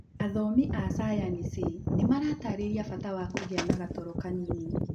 Athomi a cayanici nĩmaratarĩria bata wa kũgĩa na gatoro kanini.